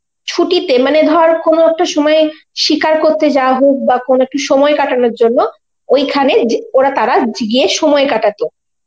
ছুটিতে মানে ধর কোন একটা সময় শিকার করতে যাওয়া হোক বা কোন একটা সময় কাটানোর জন্য ওইখানে যে~ ওরা তারা গি~ গিয়ে সময় কাটাতো.